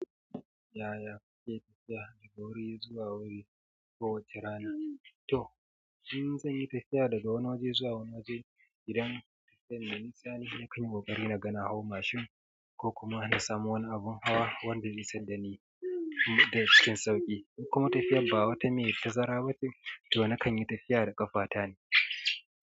Yaya kuke tafiya daga wuri zuwa wuri kowace rana? To, in zan yi tafiya daga wani waje zuwa wani waje, idan tafiyar me nisa ne, na kan yi ƙoƙari na ga na hau mashin ko kuma na samu wani abin hawa wanda zai isadda ni da cikin sauƙi. In kuma tafiyar ba wata mai tazara ba ce, to na kan yi tafiya da ƙafata ne.